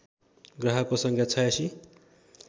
ग्राहकको सङ्ख्या ८६